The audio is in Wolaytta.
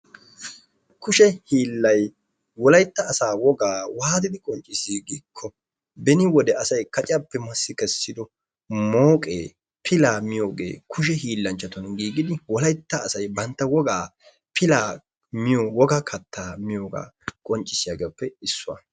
Kushe hiilay wolaytta asa wogaa waattidi qonccissi giikko beni wode asay kacciyappe massi kessido mooqe pilaa miyogee kushe hiillanchchatun giiggidi wolaytta asay bantta wogaa pilaa miiyo wogaa kaatta miiyaga wogaa qonccissiyagappe issuwa.